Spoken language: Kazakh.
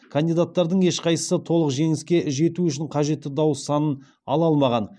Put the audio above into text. кандидаттардың ешқайсысы толық жеңіске жету үшін қажетті дауыс санын ала алмаған